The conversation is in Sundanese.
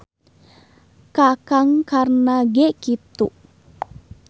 Ka Kang Karna ge kitu.